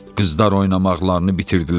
Qızlar oynamaqlarını bitirdilər.